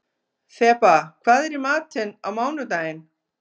Þeba, hvað er í matinn á mánudaginn?